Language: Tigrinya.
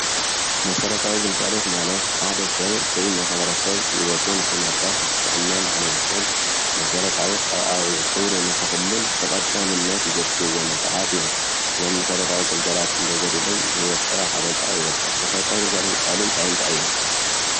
መሰረታዊ ግልጋሎት ማለት ሓደ ሰብ ወይ ማሕበረሰብ ሂወቱ ንክመርሕ ብጥዕና ንክነብርን መሰረታዊ ሰብኣዊ ክብሩ ንክሕሉን ብቀዳምነት ዘድልዩዎ ነገራት እዮም፡፡ እዞም መሰረታዊ ግልጋሎታት እንተጎዲሎም ሂወት ሰብ ኣብ ሓደጋ ይወድቅ፡፡ መሰረታዊ ግልጋሎት ዝበሃሉ እንታይ እንታይ እዮም?